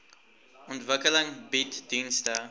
ontwikkeling bied dienste